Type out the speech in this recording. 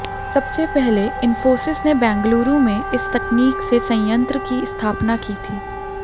सबसे पहले इंफोसिस ने बेंगलुरू में इस तकनीक से संयंत्र की स्थापना की थी